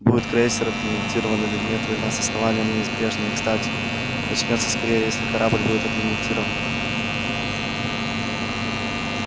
будет крейсер отремонтирован или нет война с основанием неизбежна и кстати начнётся скорее если корабль будет отремонтирован